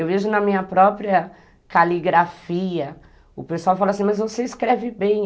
Eu vejo na minha própria caligrafia, o pessoal fala assim, mas você escreve bem.